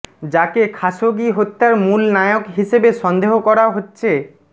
যাকে খাসোগি হত্যার মূল নায়ক হিসেবে সন্দেহ করা হচ্ছে